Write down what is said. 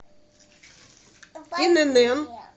инн